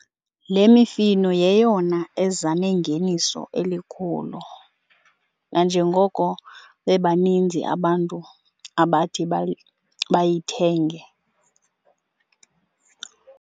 Le mifino yeyona eza nengeniso elikhulu nanjengoko bebaninzi abantu abathi bayithenge.